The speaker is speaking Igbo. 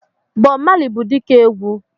Bob Marley bụ dike egwu.